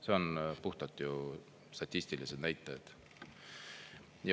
See on puhtalt ju statistilised näitajad.